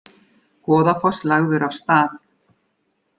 Goðafoss lagður af stað